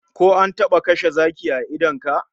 Ko an taba kashe zaki a idon ka?